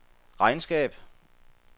regnskab